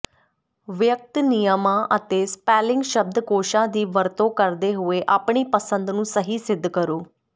ਵਿਅਕਤ ਨਿਯਮਾਂ ਅਤੇ ਸਪੈਲਿੰਗ ਸ਼ਬਦਕੋਸ਼ਾਂ ਦੀ ਵਰਤੋਂ ਕਰਦੇ ਹੋਏ ਆਪਣੀ ਪਸੰਦ ਨੂੰ ਸਹੀ ਸਿੱਧ ਕਰੋ